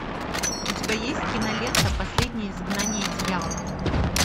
у тебя есть кинолента последнее изгнание дьявола